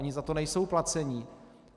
Oni za to nejsou placeni.